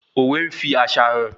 Òwe n fí àṣà hàn